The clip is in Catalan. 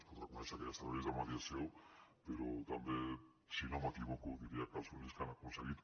es pot reconèixer que hi ha serveis de mediació però també si no m’equivoco diria que els únics que han aconseguit